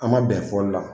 An ma bɛn fɔli la